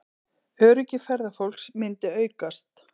Öryggi ferðafólks myndi aukast